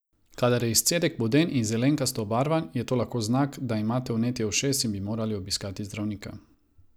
Kadar je izcedek voden in zelenkasto obarvan, je to lahko znak, da imate vnetje ušes in bi morali obiskati zdravnika.